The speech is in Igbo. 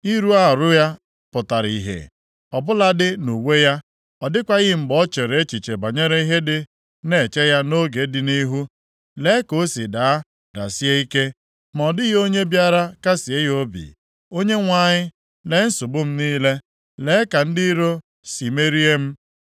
Ịrụ arụ ya pụtara ihe, ọ bụladị nʼuwe ya. Ọ dịkwaghị mgbe o chere echiche banyere ihe dị na-eche ya nʼoge dị nʼihu. Lee ka o si daa, dasie ike, ma ọ dịghị onye bịara kasịe ya obi. “ Onyenwe anyị, lee nsogbu m niile. Lee ka ndị iro si merie m.”